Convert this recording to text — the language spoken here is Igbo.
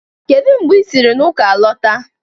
Kedu mgbe i siri na ụka lọta?